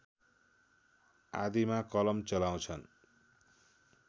आदिमा कलम चलाउँछन्